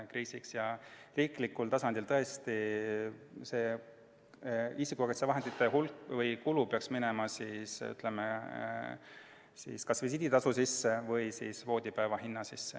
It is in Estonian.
Aga riiklikul tasandil peaks tõesti isikukaitsevahendite kulu minema kas visiiditasu või siis voodipäeva hinna sisse.